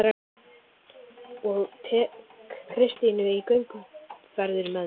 Og tek Kristínu í gönguferðir með mér